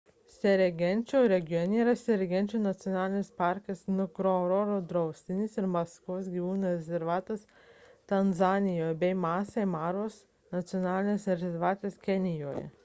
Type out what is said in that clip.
serengečio regione yra serengečio nacionalinis parkas ngorongoro draustinis ir masvos gyvūnų rezervatas tanzanijoje bei masai maros nacionalinis rezervatas kenijoje